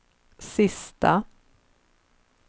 sista